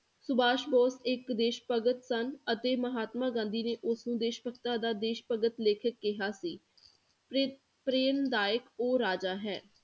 ਸੁਭਾਸ਼ ਬੋਸ ਇੱਕ ਦੇਸ਼ ਭਗਤ ਸਨ ਅਤੇ ਮਹਾਤਮਾ ਗਾਂਧੀ ਨੇ ਉਸਨੂੰ ਦੇਸ਼ ਭਗਤਾਂ ਦਾ ਦੇਸ਼ਭਗਤ ਲੇਖਕ ਕਿਹਾ ਸੀ ਪ੍ਰੇ~ ਪ੍ਰੇਰਨਾਦਾਇਕ ਉਹ ਰਾਜਾ ਹੈ